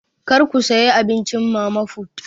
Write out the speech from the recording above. Kar ku saya abincin mama put!